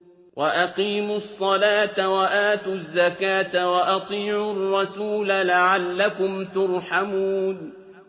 وَأَقِيمُوا الصَّلَاةَ وَآتُوا الزَّكَاةَ وَأَطِيعُوا الرَّسُولَ لَعَلَّكُمْ تُرْحَمُونَ